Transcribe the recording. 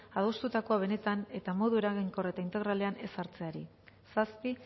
adostutakoa benetan eta modu eraginkor eta integralean ezartzeari zazpi